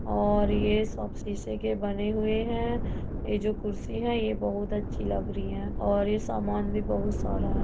और ये सब सीसे के बने हुए हैं। ये जो कुर्सी है ये बोहुत अच्छी लग रहीं है और ये सामान भी बोहत सारा है।